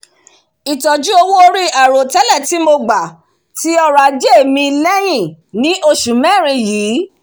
itọju owo-ori airotẹlẹ ti mo gba ti ọrọ-aje mi lẹ́yìn ní osù mérin yìí